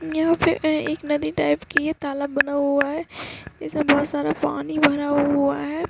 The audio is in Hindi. यहाँ पे ए-एक नदी टाइप की है तालाब बना हुआ है इसमे बहोत सारा पानी भरा हुआ है।